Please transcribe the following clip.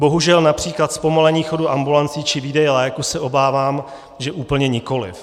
Bohužel například zpomalení chodu ambulancí či výdeje léků se obávám, že úplně nikoliv.